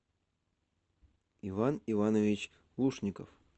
иван иванович лушников